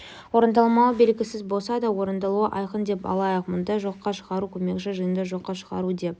орындалмауы белгісіз болса да орындалуы айқын деп алайық мұндай жоққа шығару көмекші жиынды жоққа шығару деп